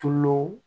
Tulo